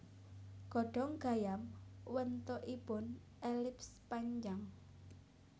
Godhong gayam wentukipoun elips panjang